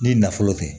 N'i nafolo tɛ